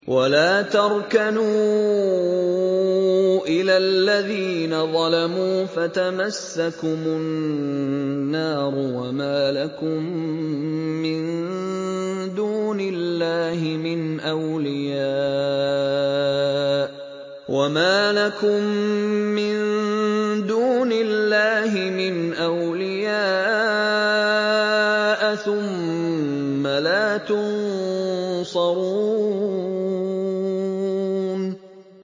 وَلَا تَرْكَنُوا إِلَى الَّذِينَ ظَلَمُوا فَتَمَسَّكُمُ النَّارُ وَمَا لَكُم مِّن دُونِ اللَّهِ مِنْ أَوْلِيَاءَ ثُمَّ لَا تُنصَرُونَ